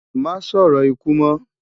Má sòrò ikú mò